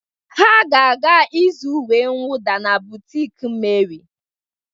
Ha ga-aga ịzụ uwe nwuda na bụtiki Meri.